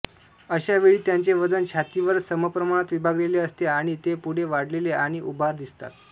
अशा वेळी त्यांचे वजन छातीवर समप्रमाणात विभागलेले असते आणि ते पुढे वाढलेले आणि उभार दिसतात